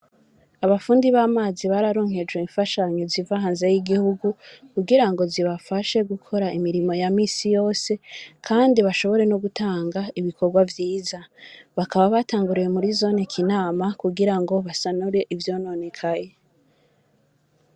Abafundi b'amazi bararonkejwe imfashanyo ziva hanze y'igihugu, kugira ngo zibafashe gukora imirimo ya minsi yose, kandi bashobore no gutanga ibikorwa vyiza; bakaba batanguriye muri zone Kinama, kugira ngo basanure ivyononekaye.